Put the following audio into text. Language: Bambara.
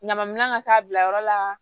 Ɲama minɛ ka taa bila yɔrɔ la